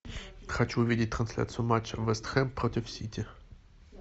хочу увидеть трансляцию матча вест хэм против сити